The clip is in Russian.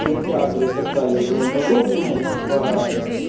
кинотеатры и так далее и тому подобное и типа